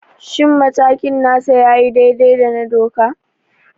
Shin matakin nasa ya yi daidai da doka?